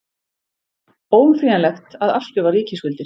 Óumflýjanlegt að afskrifa ríkisskuldir